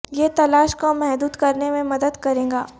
یہ تلاش کو محدود کرنے میں مدد کرے گا